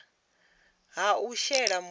ha u shela mulenzhe kha